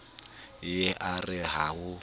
ye a re ha ho